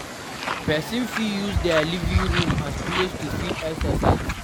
Person fit use their living room as place to fit exercise